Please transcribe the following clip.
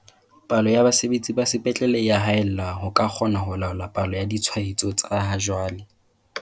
"Palo ya basebetsi ba sepetlele e ya haella ho ka kgona ho laola palo ya ditshwaetso tsa ha jwale."